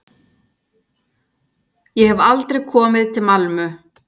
Ég hef aldrei komið til Malmö.